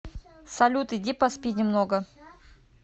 салют иди поспи немного